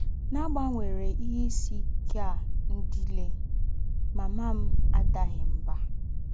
N’àgbanwérè ìhè ìsì íké à ńdílé, màmà m àdàghị mbà.